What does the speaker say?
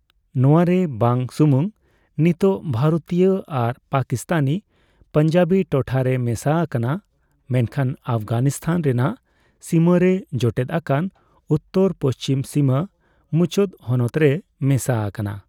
ᱱᱚᱣᱟ ᱨᱮ ᱵᱟᱝ ᱥᱩᱢᱩᱝ ᱱᱤᱛᱚᱜ ᱵᱷᱟᱨᱚᱛᱤᱭᱚ ᱟᱨ ᱯᱟᱠᱤᱥᱛᱟᱱᱤ ᱯᱟᱱᱡᱟᱵᱤ ᱴᱚᱴᱷᱟ ᱨᱮ ᱢᱮᱥᱟ ᱟᱠᱟᱱᱟ ᱢᱮᱱᱠᱷᱟᱱ ᱚᱯᱷᱜᱟᱱᱤᱥᱛᱷᱟᱱ ᱨᱮᱱᱟᱜ ᱥᱤᱢᱟᱹ ᱨᱮ ᱡᱚᱴᱮᱫ ᱟᱠᱟᱱ ᱩᱛᱛᱚᱨᱼᱯᱩᱪᱷᱤᱢ ᱥᱤᱢᱟᱹ ᱢᱩᱪᱟᱹᱫ ᱦᱚᱱᱚᱛ ᱨᱮ ᱢᱮᱥᱟ ᱟᱠᱟᱱᱟ ᱾